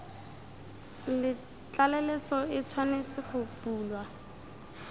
tlaleletso e tshwanetse go bulwa